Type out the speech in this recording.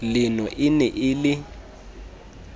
leno e ne e le